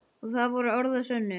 Og það voru orð að sönnu.